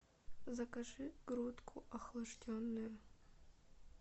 закажи грудку охлажденную